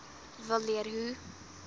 wil leer hoe